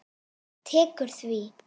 Tekur því?